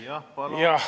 Jah, palun!